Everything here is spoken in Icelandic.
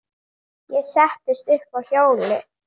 Ég settist upp á hjólið.